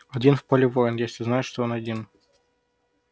один в поле воин если знает что он один